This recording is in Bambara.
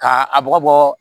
K'a a bɔgɔ bɔ